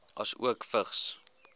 asook vigs